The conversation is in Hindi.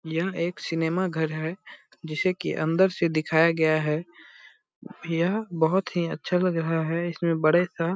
यह एक सिनेमा घर है जिसे की अंदर से दिखाया गया है यह बहुत ही अच्छा लग रहा है इसमें बड़े सा --